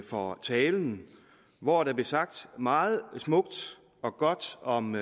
for talen hvor der blev sagt meget smukt og godt om